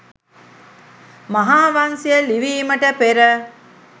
මහාවංසය ලිවීමට පෙර